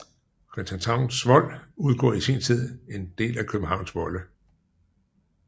Christianshavns Vold udgjorde i sin tid en del af Københavns volde